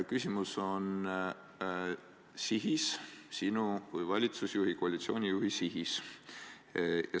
Küsimus on sihis, sinu kui valitsuse juhi, koalitsiooni juhi sihis.